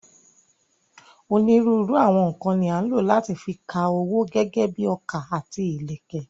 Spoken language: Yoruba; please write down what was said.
Onírúurú àwọn nǹkan ni à ń lò láti fi ka owó gẹ́gẹ́ bíi ọkà àti ìlẹ̀kẹ̀.